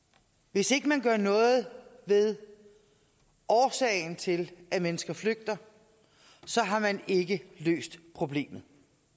hvis ikke man gør noget ved årsagen til at mennesker flygter har man ikke løst problemet